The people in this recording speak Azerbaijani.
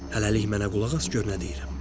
Hələlik mənə qulaq as, gör nə deyirəm.